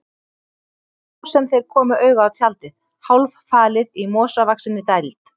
Það var þá sem þeir komu auga á tjaldið, hálffalið í mosavaxinni dæld.